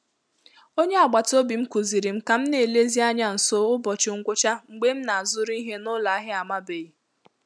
Onye agbata obi m kụziiri m ka m na-elezi anya nso ụbọchị ngwụcha mgbe m na-azụrụ ihe n'ụlọ ahịa amabeghị.